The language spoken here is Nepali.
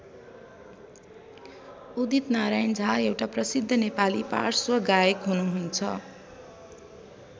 उदित नारायण झा एउटा प्रसिद्ध नेपाली पार्श्व गायक हुनुहुन्छ।